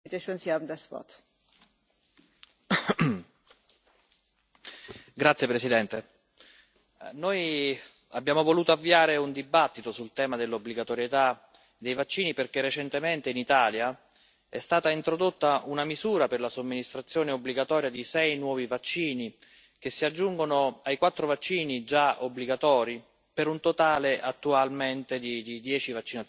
Signora Presidente, onorevoli colleghi, noi abbiamo voluto avviare un dibattito sul tema dell'obbligatorietà dei vaccini perché recentemente, in Italia, è stata introdotta una misura per la somministrazione obbligatoria di sei nuovi vaccini, che si aggiungono ai quattro vaccini già obbligatori, per un totale attualmente di dieci vaccinazioni obbligatorie.